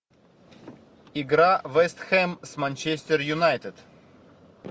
игра вест хэм с манчестер юнайтед